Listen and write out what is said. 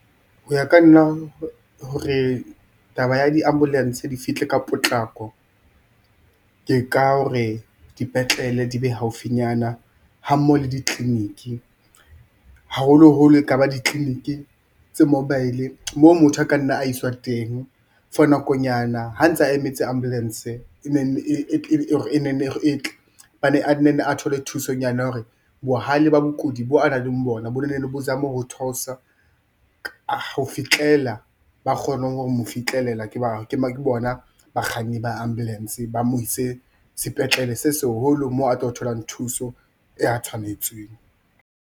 Ho ya ka nna hore taba ya di-ambulance di fihle ka potlako, ke ka hore dipetlele di be haufinyana ha mmoho le di-clinic, haholoholo ekaba di-clinic tse mobile-e moo motho a ka nna a i swa teng for nakonyana ha ntse a emetse ambulance ne nne e tle a na nne a thole thusonyana hore bohale ba bokudi boo a nang le bona bo nne bo zame ho theosa ho fihlela ba kgone ho mo fihlelela, ke bona bakganni ba-ambulence ba mo ise sepetlele se seholo moo a tlo tholang thuso e a tshwanetsweng.